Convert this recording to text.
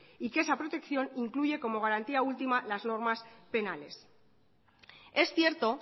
y que esa protección incluye como garantía última las normas penales es cierto